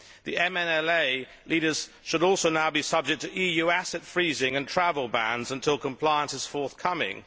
The MNLA leaders should also now be subject to EU asset freezing and travel bans until compliance is forthcoming.